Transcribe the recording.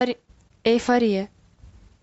эйфория